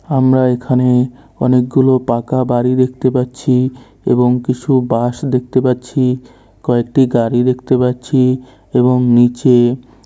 আমরা এখানে অনেকগুলো পাকা বাড়ি দেখতে পাচ্ছি এবং কিছু বাঁশ দেখতে পাচ্ছি। কয়েকটি গাড়ি দেখতে পাচ্ছি। এবং নীচে।